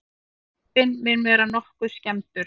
Jeppinn mun vera nokkuð skemmdur